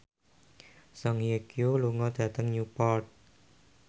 Song Hye Kyo lunga dhateng Newport